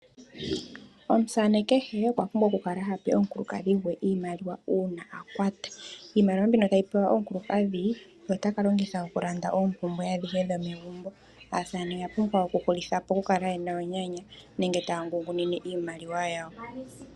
Omusaane kehe okwa pumbwa okukala tape omukukadhi gwe iimaliwa uuna a kwata. Iimaliwa mbino tayi pewa omukulukadhi ota ka longitha okulanda oompumbwe adhihe dhomegumbo. Aasamane oya pumbwa okuhulitha po okukala yena onyanya nenge taya ngungunine iimaliwa yawo.